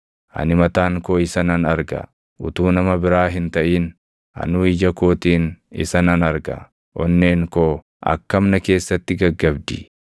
ani mataan koo isa nan arga; utuu nama biraa hin taʼin anuu ija kootiin isa nan arga. Onneen koo akkam na keessatti gaggabdi!